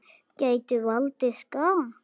Gætu valdið skaða.